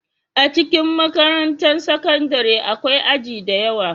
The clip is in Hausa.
A cikin makarantar sakandare akwai aji da yawa